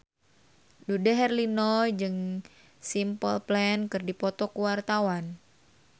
Dude Herlino jeung Simple Plan keur dipoto ku wartawan